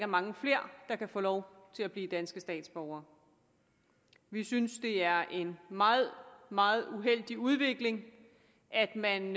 mange flere der kan få lov til at blive danske statsborgere vi synes det er en meget meget uheldig udvikling at man